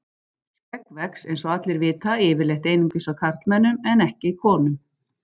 Skegg vex, eins og allir vita, yfirleitt einungis á karlmönnum en ekki konum.